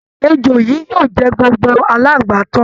Èjò yìí yóò jẹ gbogbo aláǹgbá tán